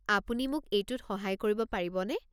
আপুনি মোক এইটোত সহায় কৰিব পাৰিবনে?